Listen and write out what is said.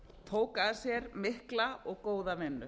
tók að sér mikla og góða vinnu